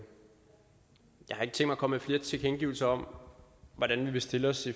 at komme med flere tilkendegivelser om hvordan vi vil stille os